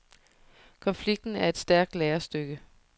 Konflikten er et stærkt lærestykke.